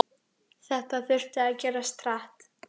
Þetta þurfti að gerast hratt.